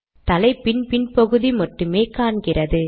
தலைப்பின் பின் பகுதி மட்டுமே காண்கிறது